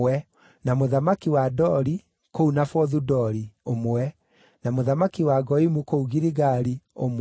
na mũthamaki wa Dori (kũu Nafothu-Dori), ũmwe, na mũthamaki wa Goimu kũu Giligali, ũmwe,